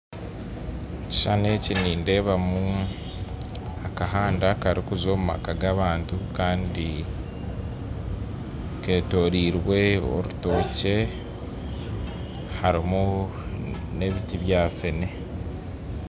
Ekishushani eki nindeebamu akahanda karikuza omu maka g'abantu kandi keetoriirwe orutookye harimu n'ebiti bya feene.